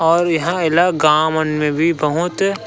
और यहाँ एला गाँव मन भी बहुत--